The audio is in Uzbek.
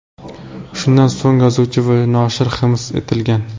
Shundan so‘ng yozuvchi va noshir hibs etilgan.